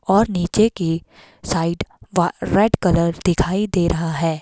और नीचे की साइड व रेड कलर दिखाई दे रहा है।